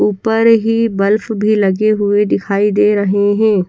ऊपर ही बल्फ भी लगे हुए दिखाई दे रहे हैं।